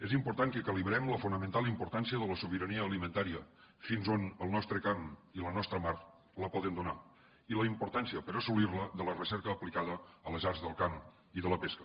és important que calibrem la fonamental importància de la sobirania alimentària fins a on el nostre camp i la nostra mar la poden donar i la importància per assolir la de la recerca aplicada a les arts del camp i de la pesca